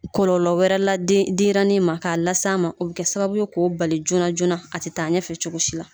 Kɔlɔlɔ wɛrɛ la denɲɛrɛnnin ma k'a las'a ma , o bɛ kɛ sababu ye k'o bali joona joonana , a tɛ taa ɲɛfɛ cogo si la.